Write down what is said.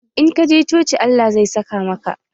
In ka je coci Allah zai saka maka.